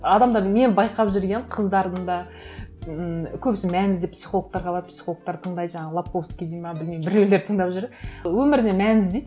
адамдар мен байқап жүргенім қыздардың да ммм көбісі мән іздеп психологтарға барып психологтарды тыңдайды жаңағы лабковский дейді ме білмеймін біреулерді тыңдап жүріп өміріне мән іздейді